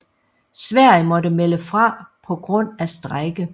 Sverige måtte melde fra på grund af strejke